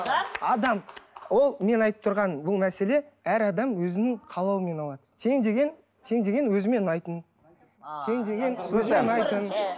адам адам ол менің айтып тұрғаным бұл мәселе әр адам өзінің қалауымен алады тең деген тең деген өзіме ұнайтын тең деген